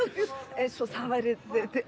eins og það væri